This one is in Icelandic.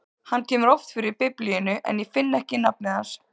Hann kemur oft fyrir í Biblíunni, en ég finn ekki nafnið hans.